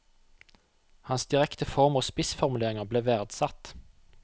Hans direkte form og spissformuleringer ble verdsatt.